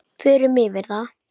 Förum yfir það.